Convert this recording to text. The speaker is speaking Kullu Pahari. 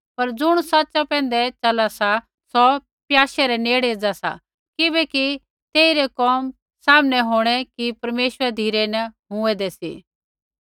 पर ज़ुण सच़ा पैंधै चला सा सौ प्याशे रै नेड़े एज़ा सा किबैकि तेई रै कोम सामनै होंणै कि ऐ परमेश्वरा रै धिरै न हुऐदें सी